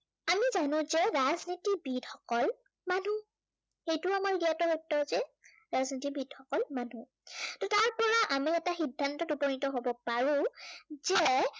আমি জানো যে ৰাজনীতিবিদ সকল মানুহ। সেইটো আমাৰ জ্ঞাত সদ্য়হতে। ৰাজনীতিবিদ সকল মানুহ। ত' তাৰ পৰা আমি এটা সদ্ধান্ত উপনীত হব পাৰো যে,